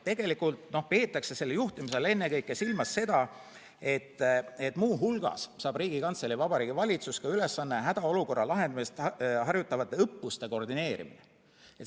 Tegelikult peetakse selle juhtimise all ennekõike silmas seda, et muu hulgas saab Riigikantselei ja Vabariigi Valitsus ülesandeks hädaolukorra lahendamist harjutavate õppuste koordineerimise.